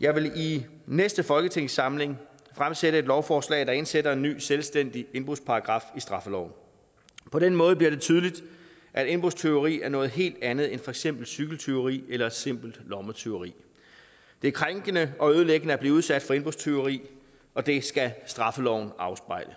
jeg vil i næste folketingssamling fremsætte et lovforslag der indsætter en ny selvstændig indbrudsparagraf i straffeloven på den måde bliver det tydeligt at indbrudstyveri er noget helt andet end for eksempel et cykeltyveri eller et simpelt lommetyveri det er krænkende og ødelæggende at blive udsat for indbrudstyveri og det skal straffeloven afspejle